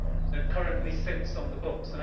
that currently sits on the books.